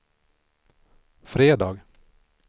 fredag